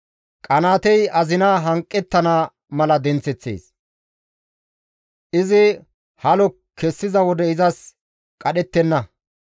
Qanaatey azina hanqettana mala denththeththees; izi halo kessiza wode izas qadhettenna.